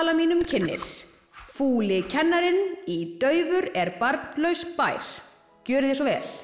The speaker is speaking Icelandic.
mínum kynnir kennarinn í daufur er barnlaus bær gjörið þið svo vel